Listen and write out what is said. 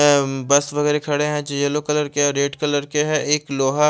मेउ bus वगेरा खड़े है येलो कलर के है रेड कलर के है एक लोहा --